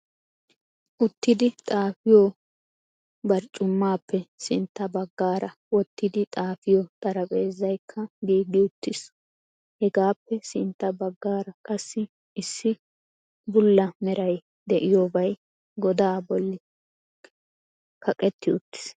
Uttidi xaafiyo barccumappe sintta baggaara wottidi xaafiyo xaraphezzaykka giigi uttiis. Hegappe sintta baggaara qassi issi bulla meray de'iyobay godaa bolli laqqetti uttiis.